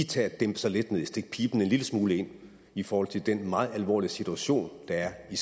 tage at dæmpe sig lidt stikke piben en lille smule ind i forhold til den meget alvorlige situation der er i